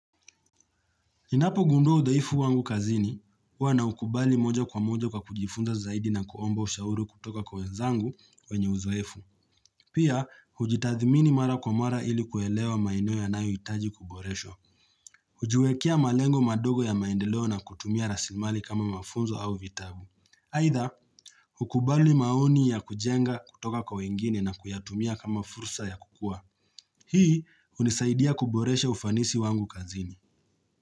Ninapo gundua udhaifu wangu kazini, huw na ukubali moja kwa moja kwa kujifunza zaidi na kuomba ushauri kutoka kwa wenzangu wenye uzoefu. Pia, ujitathimini mara kwa mara ili kuelewa maeneo ya nayo itaji kuboresho. Hujiwekea malengo madogo ya maendeleo na kutumia rasimali kama mafunzo au vitabu. Aidha, hukubali maoni ya kujenga kutoka kwa wengine na kuyatumia kama fursa ya kukua. Hii, unisaidia kuboresha ufanisi wangu kazini.